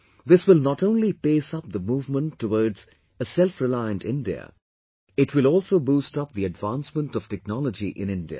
This will not only pace up the movement towards selfreliant India, it will also boost up the advancement of technology in India